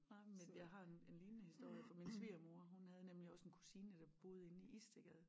Nej men jeg har en en lignende historie fra min svigermor hun havde nemlig også en kusine der boede inde i Istedgade